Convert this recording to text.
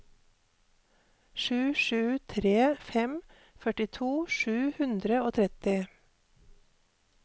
sju sju tre fem førtito sju hundre og tretti